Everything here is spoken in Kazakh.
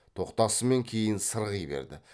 тоқтасымен кейін сырғи берді